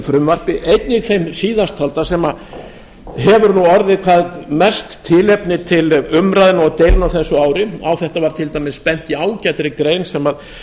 frumvarpi einnig þeim síðasttalda sem hefur orðið hvað mest tilefni til umræðna og deilna á þessu ári á þetta var til dæmis bent í ágætri grein sem